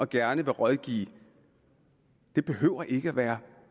gerne vil rådgive behøver ikke at være